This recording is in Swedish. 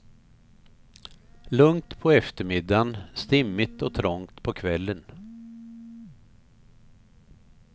Lugnt på eftermiddagen, stimmigt och trångt på kvällen.